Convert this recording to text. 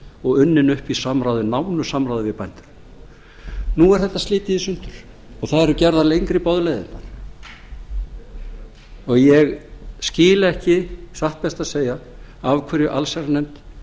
og unnin upp í nánu samráði við bændur nú er þetta slitið í sundur og það eru gerðar lengri boðleiðirnar og ég skil ekki satt best að segja af hverju allsherjarnefnd